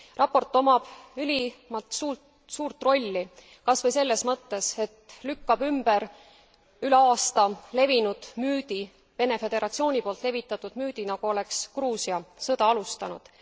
Raport omab ülimalt suurt rolli kas või selles mõttes, et lükkab ümber üle aasta levinud müüdi Vene Föderatsiooni poolt levitatud müüdi nagu oleks Gruusia sõda alustanud.